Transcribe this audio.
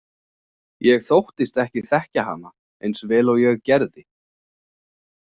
Ég þóttist ekki þekkja hana eins vel og ég gerði.